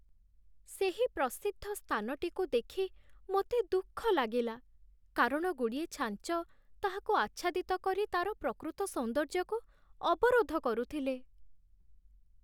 ସେହି ପ୍ରସିଦ୍ଧ ସ୍ଥାନଟିକୁ ଦେଖି ମୋତେ ଦୁଃଖ ଲାଗିଲା, କାରଣ ଗୁଡ଼ିଏ ଛାଞ୍ଚ ତାହାକୁ ଆଚ୍ଛାଦିତ କରି ତା'ର ପ୍ରକୃତ ସୌନ୍ଦର୍ଯ୍ୟକୁ ଅବରୋଧ କରୁଥିଲେ।